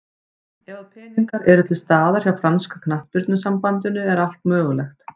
Ef að peningar eru til staðar hjá franska knattspyrnusambandinu er allt mögulegt.